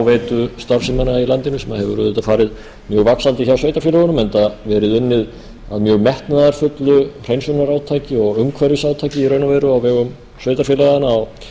fráveitustarfsemina í landinu sem hefur auðvitað farið mjög vaxandi hjá sveitarfélögunum enda verið unnið að mjög metnaðarfullu hreinsunarátaki og umhverfisátaki í raun og veru á vegum sveitarfélaganna á